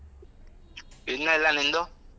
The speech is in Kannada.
ಇನ್ನ ಇಲ್ಲ ನಿಂದು?